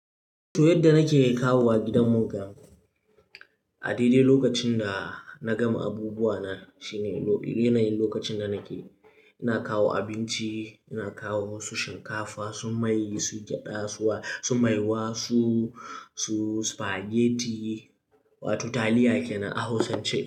To yadda nake kawowa gidan mu gan, a daidai lokacin da na gama abubuwa na shine yanayin lokacin da nake. Ina kawo abinci, ina kawo wasu shinkafa, su mai, su gyaɗa su su maiwa, su su spaghetti wato taliya kenan a hausance.